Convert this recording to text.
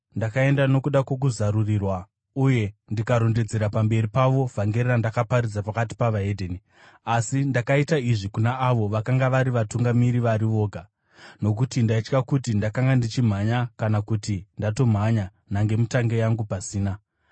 Ndakaenda nokuda kwokuzarurirwa uye ndikarondedzera pamberi pavo vhangeri randakaparidza pakati peveDzimwe Ndudzi. Asi ndakaita izvi kuna avo vakanga vari vatungamiri vari voga, nokuti ndaitya kuti ndakanga ndichimhanya kana kuti ndatomhanya nhangemutange yangu pasina.